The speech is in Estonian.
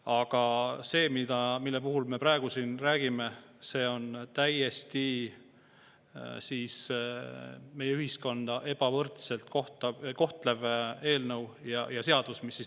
Aga see, millest me praegu siin räägime, on meie ühiskonda täiesti ebavõrdselt kohtlev seadus.